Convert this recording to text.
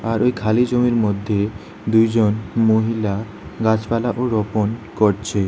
আর ওই খালি জমির মধ্যে দুইজন মহিলা গাছপালাও রোপণ করছে।